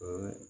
Ɛɛ